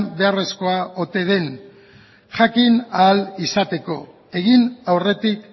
beharrezkoa ote den jakin ahal izateko egin aurretik